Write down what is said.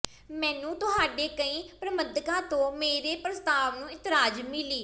ਮੈਨੂੰ ਤੁਹਾਡੇ ਕਈ ਪ੍ਰਬੰਧਕਾਂ ਤੋਂ ਮੇਰੇ ਪ੍ਰਸਤਾਵ ਨੂੰ ਇਤਰਾਜ਼ ਮਿਲੀ